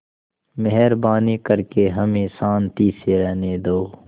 मेहरबानी करके हमें शान्ति से रहने दो